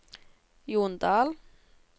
Jondal